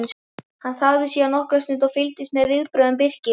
Hann þagði síðan nokkra stund og fylgdist með viðbrögðum Birkis.